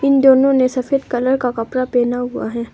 उन दोनों ने सफेद कलर का कपड़ा पहना हुआ है।